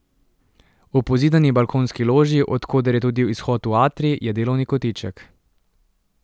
V pozidani balkonski loži, od koder je tudi izhod v atrij, je delovni kotiček.